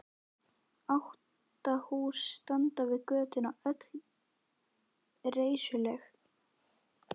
Átta hús standa við götuna, öll reisuleg.